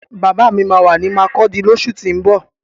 Bàbá mi máa wà ní makurdi lósù tín bọ̀